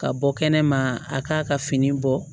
Ka bɔ kɛnɛma a k'a ka fini bɔ